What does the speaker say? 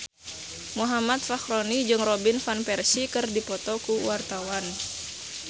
Muhammad Fachroni jeung Robin Van Persie keur dipoto ku wartawan